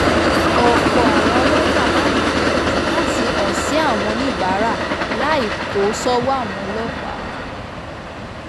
ọ̀pọ̀ àwọn ọlọ́jà máa ń gbìyànjú láti hàn sí àwọn oníbàárà láì kó sọ́wọ́ àwọn ọlọ́pàá